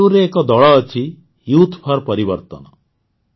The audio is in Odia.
ବେଙ୍ଗାଲୁରୁରେ ଏକ ଦଳ ଅଛି ୟୁଥ୍ ଫର୍ ପରିବର୍ତ୍ତନ